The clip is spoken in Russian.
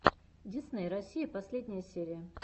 дисней россия последняя серия